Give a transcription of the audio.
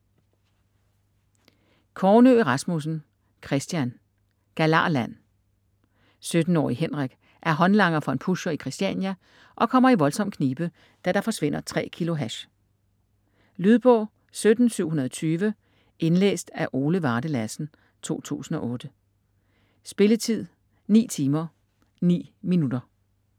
Kornø Rasmussen, Kristian: Galarland 17-årige Henrik er håndlanger for en pusher i Christiania og kommer i voldsom knibe, da der forsvinder 3 kilo hash. Lydbog 17720 Indlæst af Ole Varde Lassen, 2008. Spilletid: 9 timer, 9 minutter.